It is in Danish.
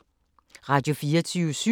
Radio24syv